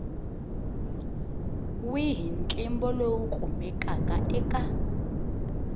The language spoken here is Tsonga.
wihi ntlimbo lowu kumekaka eka